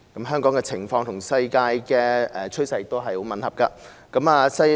香港的情況與世界趨勢很吻合。